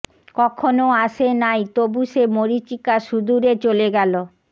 কখনো আসে নাই তবু সে মরীচিকা সুদূরে চলে গেল